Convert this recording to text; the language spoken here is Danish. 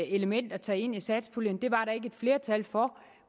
element at tage ind i satspuljen det var der ikke et flertal for